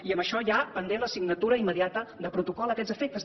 i en això hi ha pendent la signatura immediata de protocol a aquests efectes també